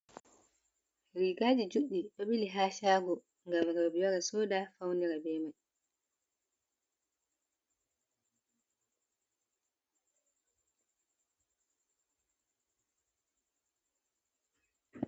Rigaji juɗɗi ɗo ɓili ha shago ngam roɓe ware souda faunira bei mai.